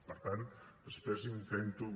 per tant després intento